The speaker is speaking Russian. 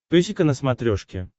песика на смотрешке